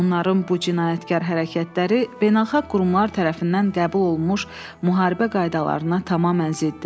Onların bu cinayətkar hərəkətləri beynəlxalq qurumlar tərəfindən qəbul olunmuş müharibə qaydalarına tamamilə ziddir.